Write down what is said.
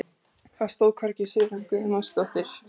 Það stóð hvergi Sigrún Guðmundsdóttir.